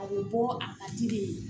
A bɛ bɔ a ka di de ye